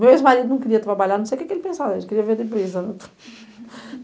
Meu ex-marido não queria trabalhar, não sei o que que ele pensava, acho que ele queria viver de brisa., né.